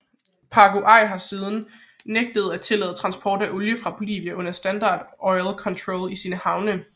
Paraguay på sin side nægtede at tillade transport af olie fra Bolivia under Standard Oils kontrol til sine havne